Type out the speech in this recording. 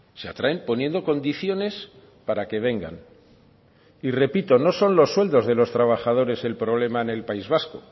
se atraen poniendo condiciones para que vengan y repito no son los sueldos de los trabajadores el problema en el país vasco